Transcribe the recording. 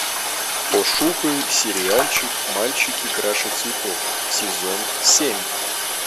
пошукай сериальчик мальчики краше цветов сезон семь